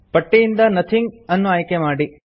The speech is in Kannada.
ಪಟ್ಟಿಯಿಂದ ನೋಥಿಂಗ್ ಅನ್ನು ಆಯ್ಕೆ ಮಾಡಿ